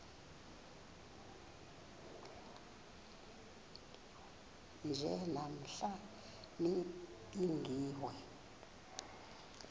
nje namhla nibingiwe